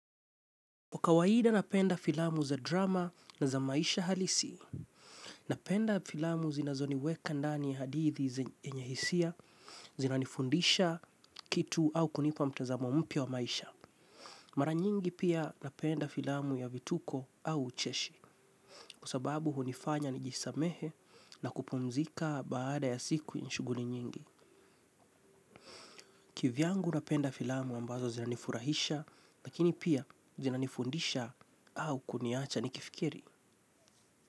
Kwa kawaida napenda filamu za drama na za maisha halisi. Napenda filamu zinazo niweka ndani ya hadithi yenye hisia zinanifundisha kitu au kunipa mtazamo mpya wa maisha. Mara nyingi pia napenda filamu ya vituko au ucheshi kwa sababu hunifanya nijisamehe na kupumzika baada ya siku ya shughuli nyingi. Kivi yangu napenda filamu ambazo zinanifurahisha lakini pia zinanifundisha au kuniacha nikifikiri.